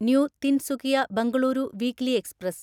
new Tinsukia Bengaluru weekly express